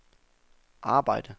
arbejde